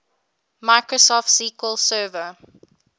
microsoft sql server